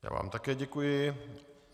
Já vám také děkuji.